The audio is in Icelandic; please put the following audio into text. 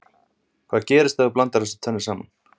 Hvað gerist ef þú blandar þessu tvennu saman?